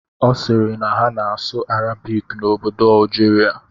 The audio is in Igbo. Ọ siiri na a na-asụ Arabik n'obodo Algeria.